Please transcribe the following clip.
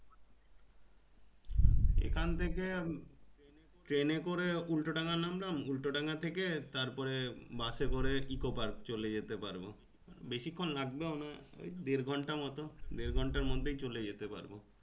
এখানে থেকে train এ করে উল্টোডাঙা নামলাম উল্টোডাঙা থেকে তারপরে bus এ করে Ecopark চলে যেতে পারবো বেশি খুন লাগবেও না ওই দেড় ঘন্টার মতন দেড় ঘন্ট মধ্যেই চলে যেতে পারবো।